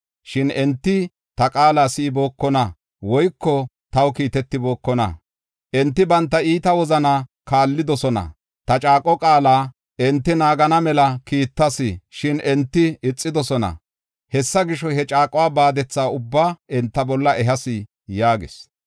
Shin enti ta qaala si7ibookona woyko taw kiitetibookona. Enti banta iita wozanaa kaallidosona. Ta caaqo qaala enti naagana mela kiittas; shin enti ixidosona. Hessa gisho, he caaquwa baadetha ubbaa enta bolla ehas’ ” yaagis.